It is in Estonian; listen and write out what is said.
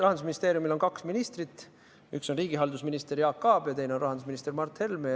Rahandusministeeriumis on kaks ministrit, üks on riigihalduse minister Jaak Aab ja teine on rahandusminister Mart Helme.